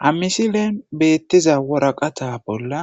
ha misilen beettiza woraqata bolla